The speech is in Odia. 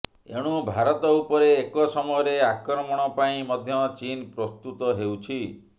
ଏଣୁ ଭାରତ ଉପରେ ଏକ ସମୟରେ ଆକ୍ରମଣ ପାଇଁ ମଧ୍ୟ ଚୀନ ପ୍ରସ୍ତୁତ ହେଉଛି